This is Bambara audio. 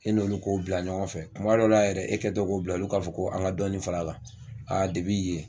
E n'olu k'o bila ɲɔgɔn fɛ, kuma dɔ la yɛrɛ e kɛ tɔ k'o bila, olu k'a fɔ ko an ka dɔɔni fara a kan. A yen.